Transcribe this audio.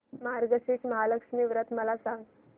मार्गशीर्ष महालक्ष्मी व्रत मला सांग